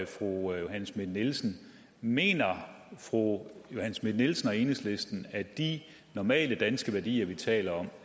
fru johanne schmidt nielsen mener fru johanne schmidt nielsen og enhedslisten at de normale danske værdier vi taler